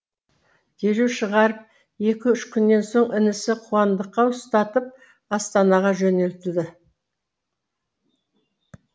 дереу шығарып екі үш күннен соң інісі қуандыққа ұстатып астанаға жөнелтеді